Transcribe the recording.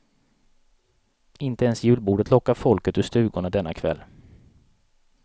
Inte ens julbordet lockar folket ur stugorna denna kväll.